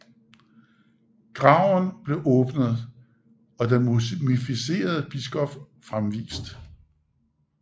Graven blev åbnet og den mumificerede biskop fremvist